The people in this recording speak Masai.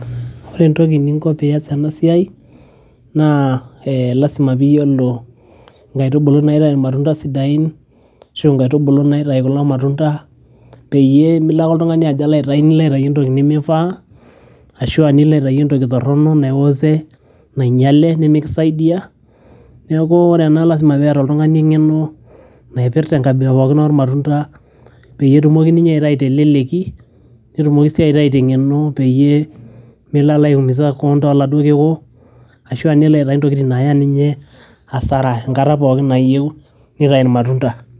Ore entoki ningo peyie iyas ena siai naa lazima peyie iyiolo ingaitubulu naitayu ilmatunda sidain arashu ingaitubulu naitayu kulo matunda peyie milo ake oltungani ajo Alo aitayu entoki nimifaa arashu aa niko aitayu entoki torono naiwose nanyiale nimikisaidia neeku ore ena lazima peeta oltungani engeno naipirta engabila pookin oo matunda pee etumoki ninye aitayu teleleki, netumoki sii aitayu tenkeno peyie melo aiumisa kewon too laduo kiku arashu nelo aitayu intokitin naaya ninye asara enkata pookin nayieu nitayu ilmatunda.